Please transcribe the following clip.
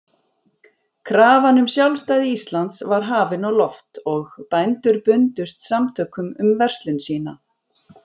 Krafan um sjálfstæði Íslands var hafin á loft, og bændur bundust samtökum um verslun sína.